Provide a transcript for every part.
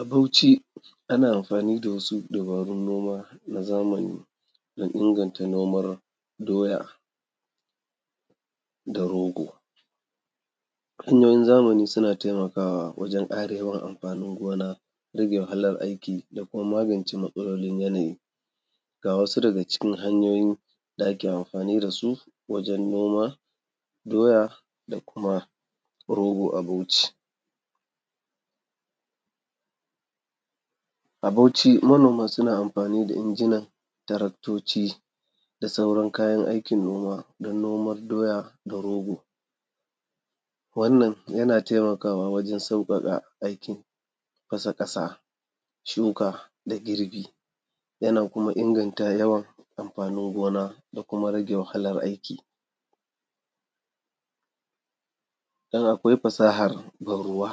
A Bauchi ana amfani da wasu dabarun noma na zamani don inganta noman doya da rogo. Hanyoyin zamani suna taimakawa wajen ƙara yawan amfanin gona, rage wahalar aiki da kuma magance matsalolin yanayi. Ga wasu daga cikin hanyoyin da ake amfani da su wajen noma doya da kuma rogo a Bauchi: a Ɓauchi manoman sunan amfani da injinan taraktoci da sauran kayan aikin noma don noman doya da rogo. Wannan yana taimakwa wajen sauƙaƙa aikin fasa ƙasa, shuka da girbi. Yana kuma inganta yawan amfanin gona da kuma rage wahalar aiki, don akwai fasahar ban-ruwa.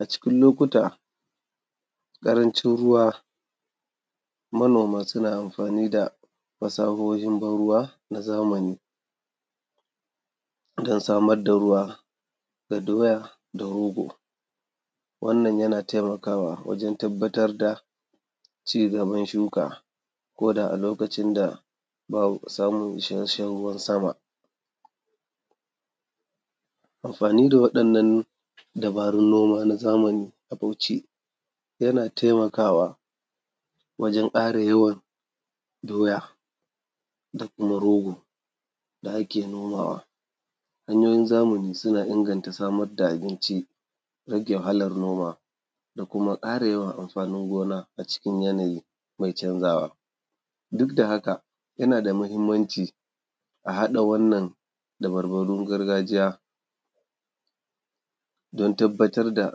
A cikin lokuta, ƙarancin ruwa, manoma suna amfani da fasahohin ban-ruwa na zamani. Sukan samar da ruwa ga doya da rogo. Wannan yana taimakawa wajen tabbatar da ci gaban shuka ko da a lokacin da ba a samun isasshen ruwan sama. Amfani da waɗannan dabarun noma na zamani a Bauchi yana taimakawa wajen ƙara yawan doya da kuma rogo da ake nomawa. Hanyoyin zamani suna inganta samar da abinci, rage wahalar noma da kuma ƙara yawan amfanin gona a cikin yanayi mai canzawa. Duk da haka, yana da muhimmanci a haɗa waɗannan dabarbarun gargajiya don tabbatar da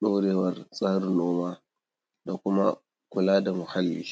ɗorewar tsarin noma da kuma kula da muhalli.